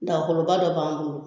Dagakoloba dɔ b'an bolo